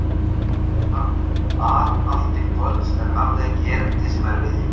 Þar var hann að allt til kvölds en hafði ekki erindi sem erfiði.